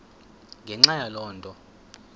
ngenxa yaloo nto